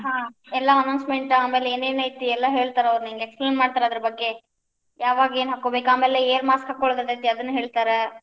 ಹಾ ಎಲ್ಲಾ announcement ಆಮೇಲೆ ಏನ್ ಏನೈತಿ ಎಲ್ಲಾ ಹೇಳ್ತಾರ್ ಅವ್ರ್ ನಿಂಗ explain ಮಾಡ್ತರ್ ಅದರ ಬಗ್ಗೆ, ಯಾವಾಗ್ ಏನ್ ಹಾಕೋಬೇಕ್ ಆಮೇಲೆ air mask ಹಾಕೋಳುದ್ ಇರ್ತೇತಿ ಅದನ್ನು ಹೇಳ್ತಾರ.